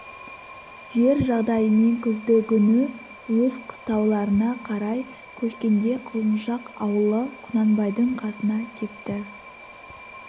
жер жағдайымен күздігүні өз қыстауларына қарай көшкенде құлыншақ аулы құнанбайдың қасына кепті